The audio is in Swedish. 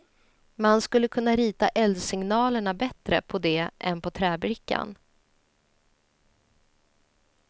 Man skulle kunna rita eldsignalerna bättre på det än på träbrickan.